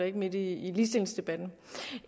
ikke midt i ligestillingsdebatten